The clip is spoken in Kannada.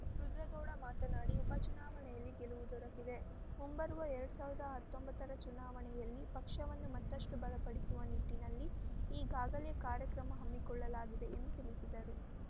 ರುದ್ರೇಗೌಡ ಮಾತನಾಡಿ ಉಪಚುನಾವಣೆಯಲ್ಲಿ ಗೆಲವು ದೊರಕಿದೆ ಮುಂಬರುವ ಎರಡ್ ಸಾವಿರದ ಹತ್ತೊಂಬತ್ತರ ಚುನಾವಣೆಯಲ್ಲಿ ಪಕ್ಷವನ್ನು ಮತ್ತಷ್ಟುಬಲಪಡಿಸುವ ನಿಟ್ಟಿನಲ್ಲಿ ಈಗಾಗಲೇ ಕಾರ್ಯಕ್ರಮ ಹಮ್ಮಿಕೊಳ್ಳಲಾಗಿದೆ ಎಂದು ತಿಳಿಸಿದರು